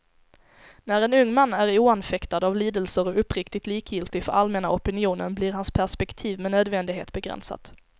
När en ung man är oanfäktad av lidelser och uppriktigt likgiltig för allmänna opinionen, blir hans perspektiv med nödvändighet begränsat.